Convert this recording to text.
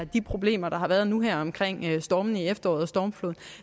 de problemer der har været nu her omkring stormen i efteråret og stormfloden